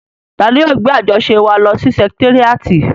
Tani yóò gbé àjọṣe wa lọ sí sẹkitéríàtì?